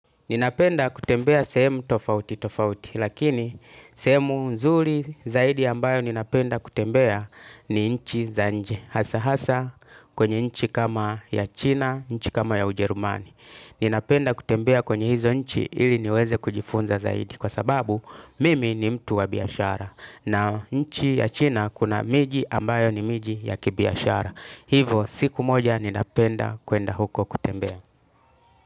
Ninapenda kutembea sehemu tofauti tofauti lakini sehemu nzuri zaidi ambayo ninapenda kutembea ni nchi za nje. Hasa hasa kwenye nchi kama ya China, nchi kama ya ujerumani. Ninapenda kutembea kwenye hizo nchi ili niweze kujifunza zaidi kwa sababu mimi ni mtu wa biashara. Na nchi ya China kuna miji ambayo ni miji ya kibiashara. Hivo siku moja ninapenda kwenda huko kutembea.